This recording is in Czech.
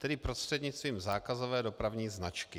Tedy prostřednictvím zákazové dopravní značky.